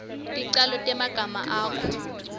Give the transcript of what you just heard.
ticalo temagama akho